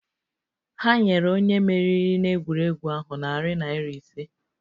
Ha nyere onye meriri n'egwuregwu ahụ narị naira ise